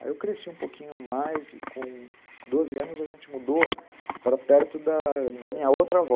Aí eu cresci um pouquinho mais e com doze anos a gente mudou para perto da da minha outra avó.